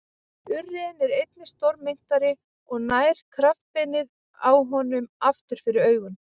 Urriðinn er einnig stórmynntari og nær kjaftbeinið á honum aftur fyrir augun.